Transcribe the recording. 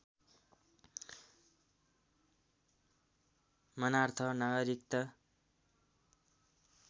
मानार्थ नागरिकता